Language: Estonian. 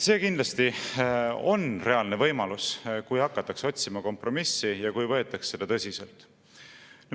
" See kindlasti on reaalne võimalus, kui hakatakse otsima kompromissi ja kui võetakse seda tõsiselt.